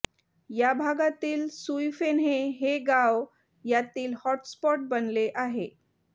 या भागातील सुईफेन्हे हे गाव यातील हॉटस्पॉट बनले आहे